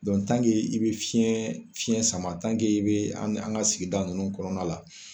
i bɛ fiɲɛ sama i bɛ an ka sigida ninnu kɔnɔna la